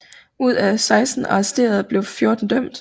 Ud af 16 arresterede blev 14 dømt